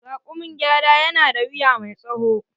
Raƙumin gyada ya na da wuya mai tsawo.